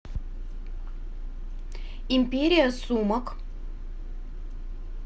империя сумок